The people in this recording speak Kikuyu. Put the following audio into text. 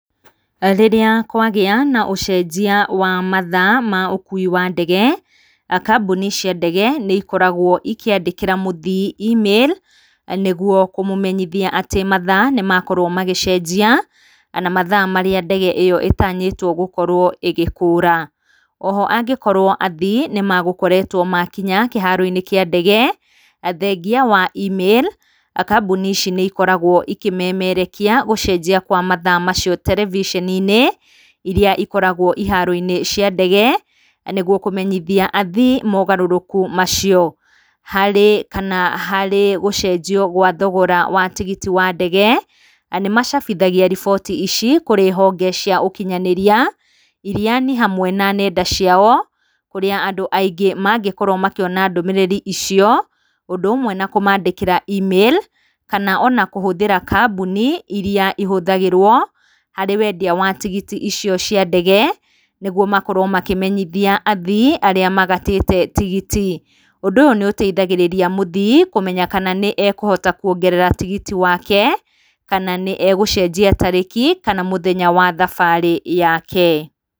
Rĩrĩa kwagĩa na ũcenjia wa mathaa ma ũkui wa ndege kambuni cia ndege nĩ ikoragwo ikĩandĩkira muthii email nĩguo kũmũmenyithia atĩ mathaa nĩ makorwo magĩcenjia na mathaa marĩa ndege ĩyo ĩtanyĩtwo gũkorwo ĩgĩkũra. O ho angĩkorwo athii nĩ megũkoretwo makinya kĩharo-inĩ kĩa ndege, athengia wa email kambuni ici nĩ ikoragwo ĩkĩmemerekia gũcenjia kwa mathaa macio terebiceni-inĩ irĩa ikoragwo iharo-inĩ cia ndege, nĩguo kũmenyithai athii mogarũrũku macio. Harĩ kana harĩ gũcenjio gwa thogora wa tigiti wa ndege, na nĩ macabithagia riboti ici kũrĩ honge cia ũkinyanĩria irĩa nĩ hamwe na nenda ciao, kũrĩa andũ aingĩ mangĩkorwo makĩona ndũmĩrĩri icio. Ũndũ ũmwe na kũmaandĩkĩra email kana ona kũhũthĩra kambuni irĩa ihũthĩragwo harĩ wendia wa tigiti icio cia ndege, nĩguo makorwo makĩmenyithia athii arĩa magatĩte tigiti. Ũndũ ũyũ nĩ ũteithagĩrĩria mũthii kũmenya kana nĩ ekũhota kuongerera tigiti wake, kana nĩ egũcenjia tarĩki kana mũthenya wa thabarĩ yake.